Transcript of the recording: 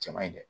Cɛ man ɲi dɛ